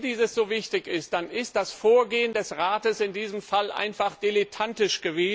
Aber wenn dies so wichtig ist, dann war das Vorgehen des Rates in diesem Fall einfach dilettantisch.